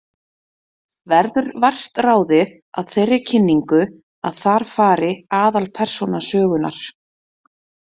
Verður vart ráðið af þeirri kynningu að þar fari aðalpersóna sögunnar.